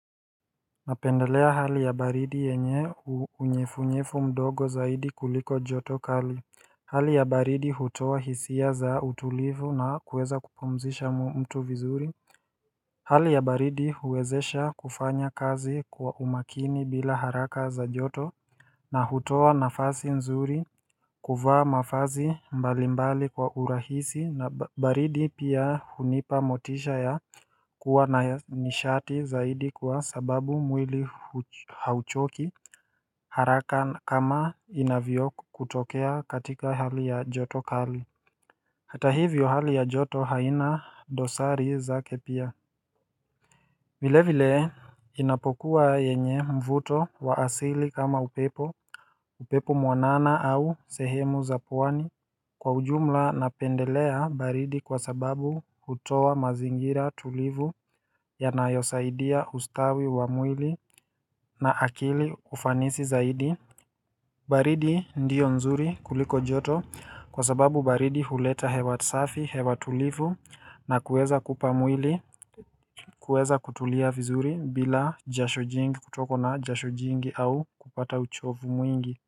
Napendelea hali ya baridi yenye unyevunyevu mdogo zaidi kuliko joto kali Hali ya baridi hutoa hisia za utulivu na kuweza kupumzisha mtu vizuri Hali ya baridi huwezesha kufanya kazi kwa umakini bila haraka za joto na hutoa nafasi nzuri kuvaa mavazi mbalimbali kwa urahisi na baridi pia hunipa motisha ya kuwa na nishati zaidi kwa sababu mwili hauchoki haraka kama inavyokutokea katika hali ya joto kali hata hivyo hali ya joto haina dosari zake pia vile vile inapokuwa yenye mvuto wa asili kama upepo upepo mwanana au sehemu za pwani kwa ujumla napendelea baridi kwa sababu hutoa mazingira tulivu yanayosaidia ustawi wa mwili na akili ufanisi zaidi baridi ndio nzuri kuliko joto kwa sababu baridi huleta hewa safi, hewa tulivu na kuweza kupa mwili, kuweza kutulia vizuri bila jasho jingi kutokwa na jasho jingi au kupata uchovu mwingi.